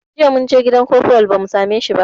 Jiya munje gidan kofral ba mu same shi ba